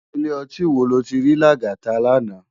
Ilé òtín wó ló ti ri Lagata làná?